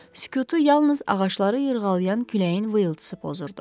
Sükutu yalnız ağacları yırğalayan küləyin vıyıldısı pozurdu.